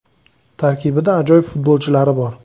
Tarkibida ajoyib futbolchilari bor.